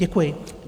Děkuji.